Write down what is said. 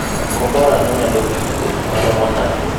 Kombora no nyalo dhi wuoth maromo nade?